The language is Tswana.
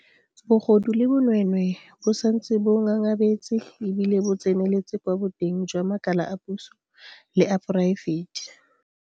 Bogodu le bonweenwee bo santse bo ngangabetse e bile bo tseneletse kwa boteng jwa makala a puso le a poraefete.